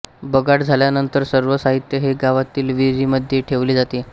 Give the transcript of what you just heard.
बगाड झाल्यानंतर सर्व साहित्य हे गावातील विहिरीमध्ये ठेवले जाते